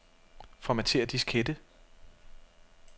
Formatér diskette.